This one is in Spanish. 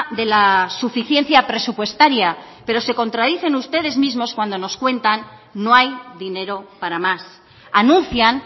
de la suficiencia presupuestaria pero se contradicen ustedes mismos cuando nos cuentan no hay dinero para más anuncian